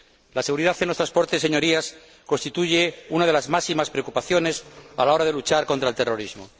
La seguridad en los transportes, Señorías, constituye una de las máximas preocupaciones a la hora de luchar contra el terrorismo.